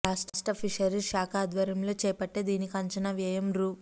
రాష్ట్ర ఫిషరీస్ శాఖ ఆధ్వర్యంలో చేపట్టే దీనికి అంచనా వ్యయం రూ